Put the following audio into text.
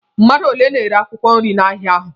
Mmadụ ole na-ere akwụkwọ nri n'ahịa ahụ?